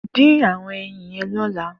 Din awọn ẹyin yèn lọlà